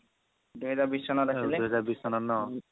দুহেজাৰ বিশ চনত আছিলে